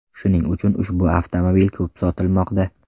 Shuning uchun ushbu avtomobil ko‘p sotilmoqda.